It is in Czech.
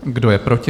Kdo je proti?